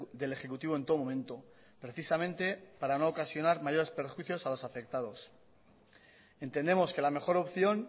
del ejecutivo en todo momento precisamente para no ocasionar mayores perjuicios a los afectados entendemos que la mejor opción